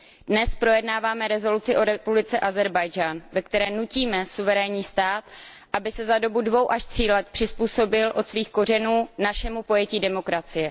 Dnes projednáváme rezoluci o republice Ázerbájdžán, ve které nutíme suverénní stát, aby se za dobu dvou až tří let přizpůsobil od svých kořenů našemu pojetí demokracie.